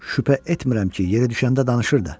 Şübhə etmirəm ki, yeri düşəndə danışır da.